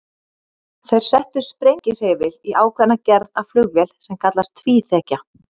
Þeir settu sprengihreyfil í ákveðna gerð af flugvél sem kallast tvíþekja.